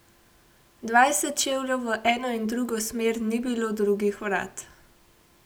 Dvajset čevljev v eno in drugo smer ni bilo drugih vrat.